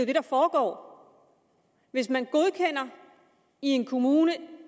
det der foregår hvis man i en kommune